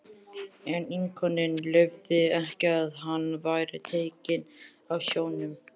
En íkoninn leyfði ekki að hann væri tekinn af sjónum.